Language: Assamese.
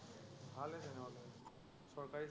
ভালেই তেনেহলে, চৰকাৰী চাকৰি